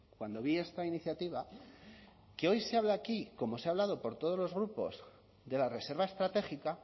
cuando vi esta iniciativa que hoy se habla aquí como se ha hablado por todos los grupos de la reserva estratégica